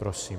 Prosím.